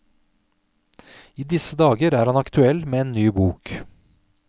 I disse dager er han aktuell med en ny bok.